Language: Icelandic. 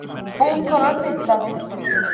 Búkonan dillaði